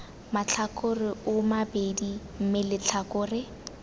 matlhakore oo mabedi mme letlhakore